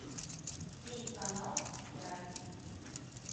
телеканал драйв